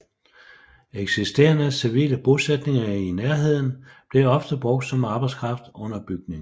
Eksisterende civile bosætninger i nærheden blev ofte brugt som arbejdskraft under bygningen